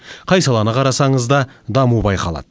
қай саланы қарасаңыз да даму байқалады